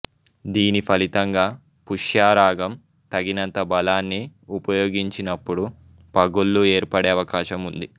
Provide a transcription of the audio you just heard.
దీని ఫలితంగా పుష్యరాగం తగినంత బలాన్ని ఉపయోగించినపుడు పగుళ్ళు ఏర్పడే అవకాశం ఉంది